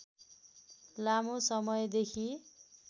लामो समयदेखि